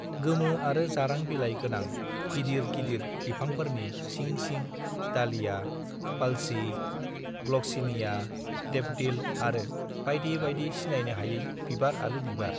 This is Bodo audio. गोमो आरो जारां बिलाइ गोनां गिदिर गिदिर बिफाफोरनि सिं सिं दालिया पालसि ग्लगसिनिया देपदिलआरो बाइदि बाइदि सिनाइनो हायै बिबार आरो बिबार